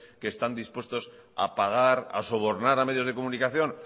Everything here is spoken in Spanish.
que están dispuestos a pagar a sobornar a medios de comunicación